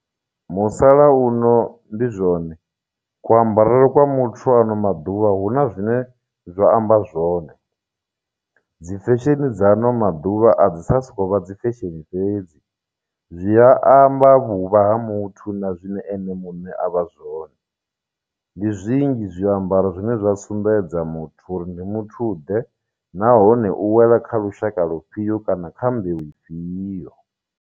Musala uno ndi zwone ku ambarele kwa muthu ano maḓuvha hu na zwine zwa amba zwone dzi fesheni dza ano maḓuvha a dzi tsha soko vha dzi fesheni fhedzi zwi amba vhuvha ha muthu na zwine ene muṋe a vha zwone ndi zwinzhi zwiambaro zwine zwa sumbedza muthu uri ndi muthu ḓe nahone u wela kha lushaka lufhio kana kha mbeu ifhio.